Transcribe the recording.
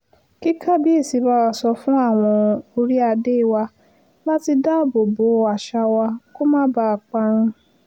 kí kábíẹ̀sì bá wa sọ fún àwọn orí-adé wa láti dáàbò bo àṣà wa kó má bàa parun